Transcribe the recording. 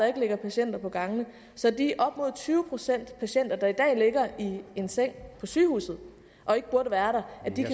ikke ligger patienter på gangene så de op mod tyve procent af patienterne der i dag ligger i en seng på sygehuset og ikke burde være